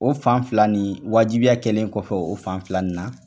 O fan fila nin wajibiya kɛlen o fan fila in na